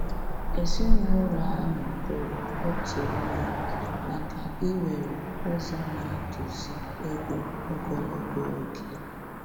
Èzìnụlọ ahụ tòrò òtù ònye maka íwere ụzọ n'atụ̀zụ̀ égò ogologo oge.